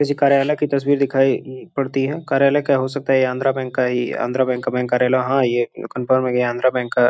किसी कार्यालय की तस्वीर दिखाई म्म पड़ती है। कार्यालय का हो सकता है। ये आंध्रा बैंक का ही आंध्रा बैंक का बैंक कार्यालय हां ये कंफर्म है कि आंध्रा बैंक का --